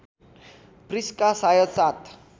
Prisca सायद सात